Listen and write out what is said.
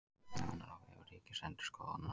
Nánar á vef Ríkisendurskoðunar